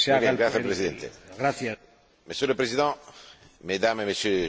Monsieur le Président, Mesdames et Messieurs les députés, je vois M.